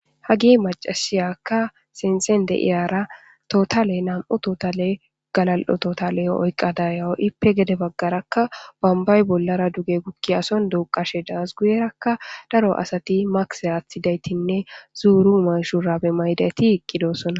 hagi macasiyakka sinthen deiyara totale nam7o totale galal7ototale oyqqa dayawo ippe gede baggarakka bambay bollara duge gukki ason duuqashe daas guyerakka daro asati makse aaththidaytinne zuuru manshurabe maydati iqqidosonna